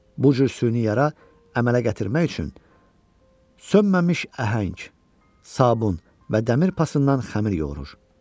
Bu cür süni yara əmələ gətirmək üçün sönməmiş əhəng, sabun və dəmir pasından xəmir yoğurur.